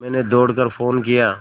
मैंने दौड़ कर फ़ोन किया